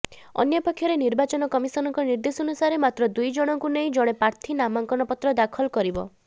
ଅନ୍ୟପକ୍ଷରେ ନିର୍ବାଚନ କମିଶନଙ୍କ ନିର୍ଦ୍ଦେଶାନୁସାରେ ମାତ୍ର ଦୁଇଜଣଙ୍କୁ ନେଇ ଜଣେ ପ୍ରାର୍ଥୀ ନାମାଙ୍କନ ପତ୍ର ଦାଖଲ କରିବ